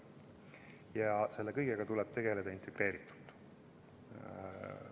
Ja selle kõigega tuleb tegeleda integreeritult.